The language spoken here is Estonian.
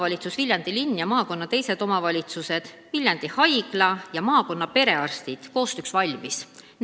Nii Viljandi linn kui ka maakonna teised omavalitsused, Viljandi Haigla ja maakonna perearstid on koostööks valmis.